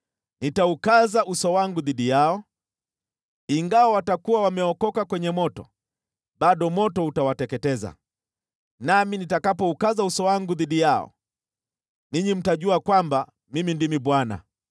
Nitaukaza uso wangu dhidi yao. Ingawa watakuwa wameokoka kwenye moto, bado moto utawateketeza. Nami nitakapoukaza uso wangu dhidi yao, ninyi mtajua kwamba Mimi ndimi Bwana .